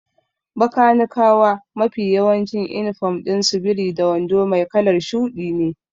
Bakanikawa mafi yawancin inifom ɗin su biri da wando mai kalar shuɗi ne.